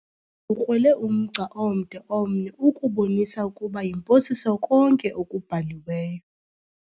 ukrwele umgca omde omnye ukubonisa ukuba yimposiso konke okubhaliweyo.